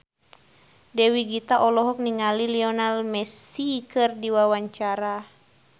Dewi Gita olohok ningali Lionel Messi keur diwawancara